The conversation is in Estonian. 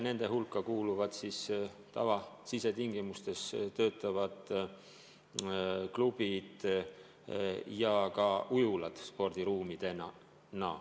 Nende hulka kuuluvad tavalistes sisetingimustes töötavad klubid ja ka ujulad spordiruumidena.